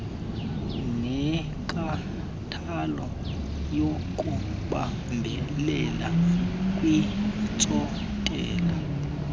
nenkathalo yokubambelela kwiintsontela